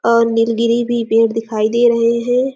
और नीलगिरी भी पेड़ दिखाई दे रहे हैं।